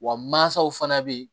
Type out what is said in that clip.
Wa mansaw fana bɛ yen